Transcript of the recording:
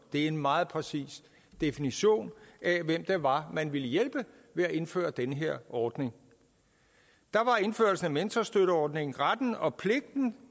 en meget præcis definition af hvem det var man ville hjælpe ved at indføre den her ordning der gav indførelsen af mentorstøtteordningen retten og pligten